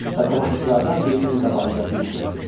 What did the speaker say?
Və tamaşaçılardan birinin qabağında diz çökdü.